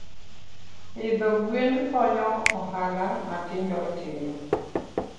Pidho gwen konyo ohala matindo tindo.